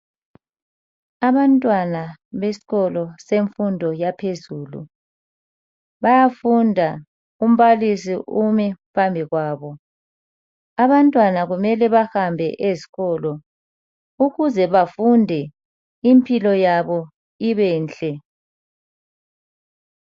Abantwana besikolo semfundo yaphezulu bayafunda umbalisi umi phambi kwabo abantwana kumele bahambe ezikolo ukuze bafunde impilo yabo ibenhle.